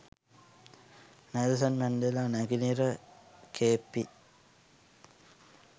Nelson Mandela නැගෙනහිර Cape හි